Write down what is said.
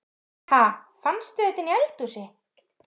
Ha! Fannstu þetta inni í eldhúsi?